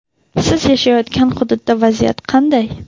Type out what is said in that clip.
siz yashayotgan hududda vaziyat qanday?.